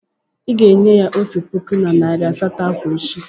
Ị ga-enye ya otu puku na narị asatọ akwa echi.